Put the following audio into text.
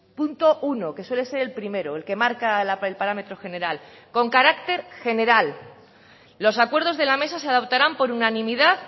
punto uno que suele ser el primero el que marca el parámetro general con carácter general los acuerdos de la mesa se adoptarán por unanimidad